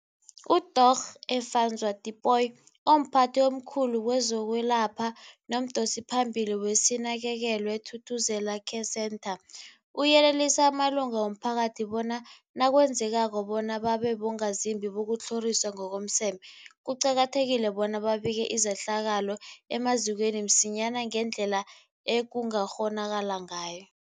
UDorh Efadzwa Tipoy, omphathi omkhulu kezokwelapha nomdosiphambili weSinakekelwe Thuthuzela Care Centre, uyelelise amalunga womphakathi bona nakwenzekako bona babe bongazimbi bokutlhoriswa ngokomseme, kuqakathekile bona babike izehlakalo emazikweni msinyana ngendlela ekungakghonakala ngayo.